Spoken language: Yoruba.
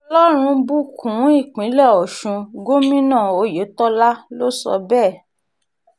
kí ọlọ́run bùkún um ìpínlẹ̀ ọ̀sùn gómìnà oyetola um ló sọ bẹ́ẹ̀